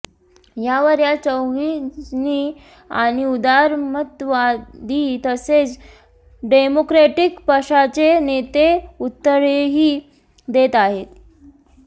यावर या चौघीजणी आणि उदारमतवादी तसेच डेमोक्रॅटिक पक्षाचे नेते उत्तरेही देत आहेत